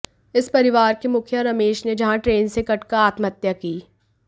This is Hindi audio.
इस परिवार के मुखिया रमेश ने जहां ट्रेन से कटकर आत्महत्या की